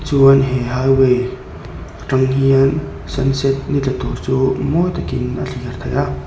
chuan he highway aṭang hian sun set ni tla tûr chu mawi takin a thlîr theih a.